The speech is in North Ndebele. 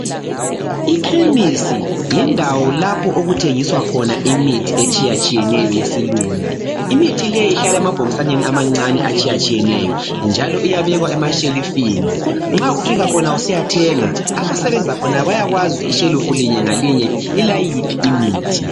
Ikhemisi yindawo lapho okuthengiswa khona imithi etshiyetshiyeneyo yesilungu. Imithi leyi ihlala emabhokisaneni amancane atshiyetshiyeneyo njalo iyabekwa emashelufini nxa ufika khona usiyathenga abasebenza khona bayakwazi ukuthi ishelifu linyengayinye lilayiphi imithi.